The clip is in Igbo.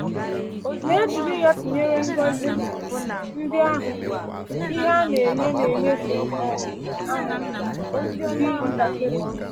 Ma, e jiri ya tụnyere ngọzi ndị ahụ, ihe a na-enye n’ịnyefe um ahụ dị ntakịrị.